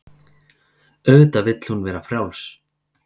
Auðvitað vill hún vera frjáls.